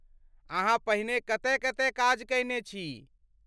अहाँ पहिने कतय कतय काज कयने छी?